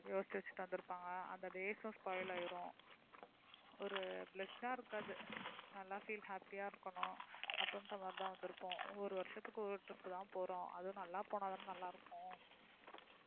யோசிச்சு வச்சிட்டு வந்திருப்பாங்க அந்த days உம் spoil ஆயிரும் ஒரு blessed ஆ இருக்காது நல்லா feel happy ஆ இருக்கணும் அப்படின்ற மாதிரிதான் வந்திருப்போம் ஒரு வருஷத்துக்கு ஒரு ஒரு trip தான் போறோம் அதுவும் நல்லா போனாதானே நல்லா இருக்கும்